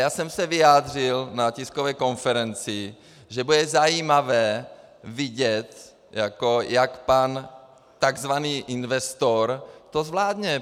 Já jsem se vyjádřil na tiskové konferenci, že bude zajímavé vidět, jak pan - tzv. investor to zvládne.